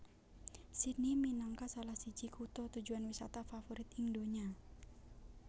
Sydney minangka salah siji kutha tujuan wisata favorit ing donya